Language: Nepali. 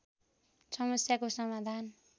समस्याको समाधान